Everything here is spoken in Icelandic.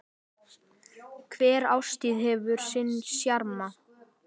Hver árstíð hefur sinn sjarma.